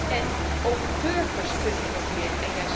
En ook burgers kunnen innoveren.